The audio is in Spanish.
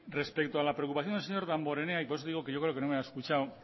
respecto a la preocupación del señor damborenea y por eso digo que yo creo que no me ha escuchado